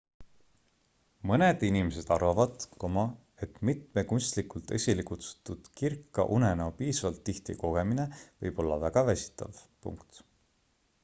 mõned inimesed arvavad et mitme kunstlikult esilekutsutud kirka unenäo piisavalt tihti kogemine võib olla väga väsitav